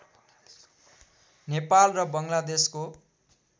नेपाल र बङ्गलादेशको